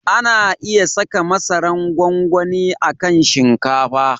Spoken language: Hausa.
Ana iya saka masaran gwangwani a kan shinkafa.